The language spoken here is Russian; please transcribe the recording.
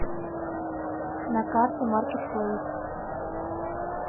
на карте маркетплэйс